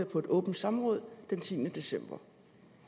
på et åbent samråd den tiende december